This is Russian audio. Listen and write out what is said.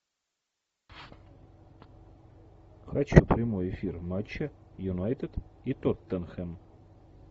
хочу прямой эфир матча юнайтед и тоттенхэм